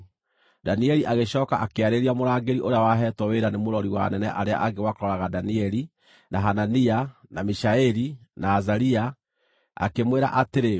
Danieli agĩcooka akĩarĩria mũrangĩri ũrĩa waheetwo wĩra nĩ mũrori wa anene arĩa angĩ wa kũroraga Danieli, na Hanania, na Mishaeli, na Azaria, akĩmwĩra atĩrĩ,